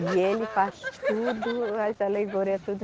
E ele faz tudo, as alegoria, tudo.